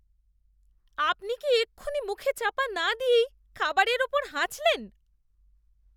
আপনি কি এক্ষুনি মুখে চাপা না দিয়েই খাবারের উপর হাঁচলেন?